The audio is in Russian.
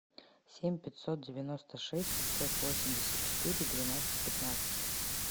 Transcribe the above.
семь пятьсот девяносто шесть пятьсот восемьдесят четыре двенадцать пятнадцать